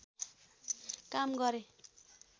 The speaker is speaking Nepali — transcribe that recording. काम गरे